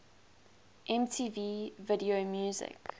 mtv video music